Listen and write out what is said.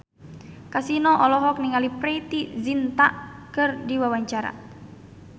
Kasino olohok ningali Preity Zinta keur diwawancara